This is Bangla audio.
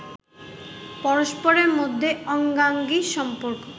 পরস্পরের মধ্যে অঙ্গাঙ্গি সম্পর্ক